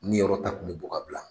N ni yɔrɔ ta kun mi bɔ ka bila